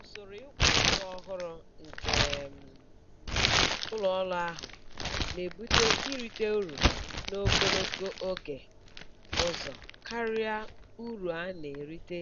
Usoro ịkwụ ụgwọ ọhụrụ nke um ụlọ ọrụ ahụ na-ebute irite uru n'ogologo oge ụzọ karịa uru a na-erite